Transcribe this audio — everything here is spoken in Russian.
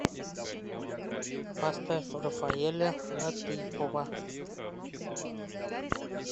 поставь рафаэля латыйпова